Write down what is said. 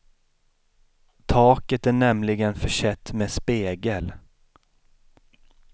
Taket är nämligen försett med spegel.